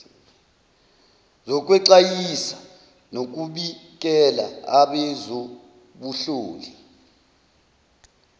zokwexwayisa nokubikela abezobuhloli